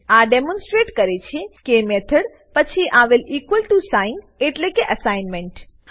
આ ડેમોનસ્ટ્રેટ કરે છે કે મેથડ પછી આવેલ ઇક્વલ ટીઓ સાઇન એટલે કે એસાઈનમેંટ